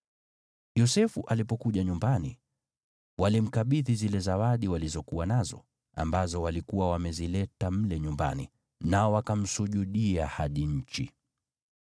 Yosefu alipokuja nyumbani, walimkabidhi zile zawadi walizokuwa nazo, ambazo walikuwa wamezileta mle nyumbani, nao wakamsujudia hadi nchi.